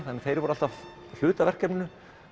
þeir voru alltaf hluti af verkefninu